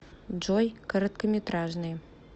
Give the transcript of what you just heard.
джой короткометражные